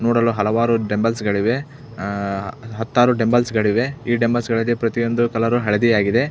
ನೋಡಲು ಹಲವಾರು ಡಂಬಲ್ಸ್ ಗಳಿವೆ ಅಹ್ ಹತ್ತಾರು ಡಂಬಲ್ಸ್ ಗಳಿವೆ ಈ ಡಂಬಲ್ಸ್ ಗಳಿಗೆ ಪ್ರತಿಯೊಂದು ಕಲರ್ ಹಳದಿ ಆಗಿದೆ .